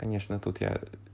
конечно тут я ээ